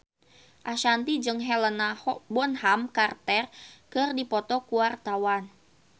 Ashanti jeung Helena Bonham Carter keur dipoto ku wartawan